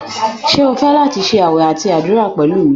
Ṣe o fẹ lati ṣe awẹ ati adura pẹlu mi?